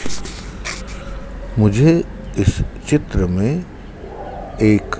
मुझे इस चित्र में एक--